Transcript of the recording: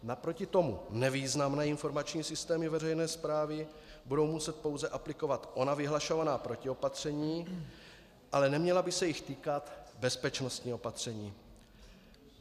Naproti tomu nevýznamné informační systémy veřejné správy budou muset pouze aplikovat ona vyhlašovaná protiopatření, ale neměla by se jich týkat bezpečnostní opatření.